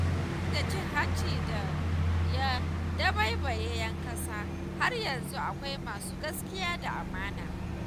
Duk da cin hanci da ya dabaibaye 'yan ƙasa, har yanzu akwai masu gaskiya da amana.